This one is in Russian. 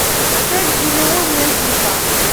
отель элеон найди ка